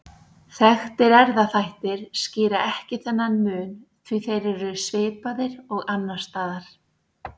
Þekktir erfðaþættir skýra ekki þennan mun því þeir eru svipaðir og annars staðar.